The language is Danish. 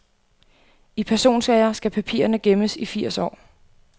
I personsager skal papirerne gemmes i firs år.